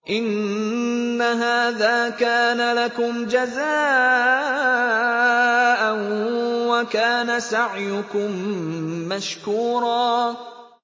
إِنَّ هَٰذَا كَانَ لَكُمْ جَزَاءً وَكَانَ سَعْيُكُم مَّشْكُورًا